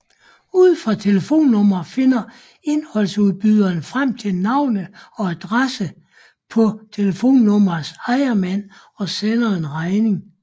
Ud fra telefonnummeret finder indholdsudbyderen frem til navn og adresse på telefonnummerets ejermand og sender en regning